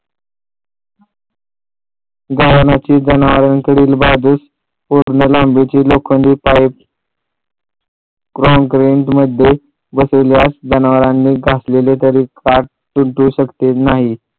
गव्हाणीची जनावरांकडील पूर्ण लांबीची लोखंडी पाईप काँक्रेट मध्ये बसविल्यास जनावरांनी घातलेले नाही